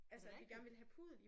Er det rigtigt?